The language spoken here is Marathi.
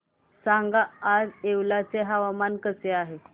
सांगा आज येवला चे हवामान कसे आहे